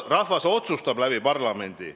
Rahvas otsustab läbi parlamendi.